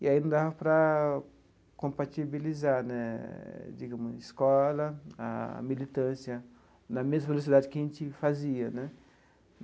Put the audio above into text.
E aí não dava para compatibilizar né digamos a escola, a militância, na mesma velocidade que a gente fazia né.